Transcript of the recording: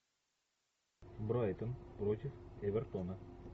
брайтон против эвертона